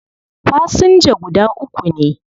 Fasinja guda uku ne